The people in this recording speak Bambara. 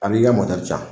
A b'i ka moto jan